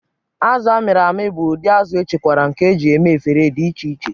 Azụ a mịrị amị bụ ụdị azụ̀echekwara nke e ji eme efere dị iche iche.